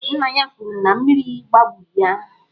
Nna ya kwuru na mmiri gbagburu ya.